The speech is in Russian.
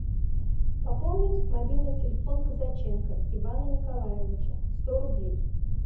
пополнить мобильный телефон казаченко ивана николаевича сто рублей